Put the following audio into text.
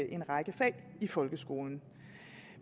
en række fag i folkeskolen